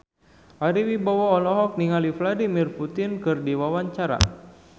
Ari Wibowo olohok ningali Vladimir Putin keur diwawancara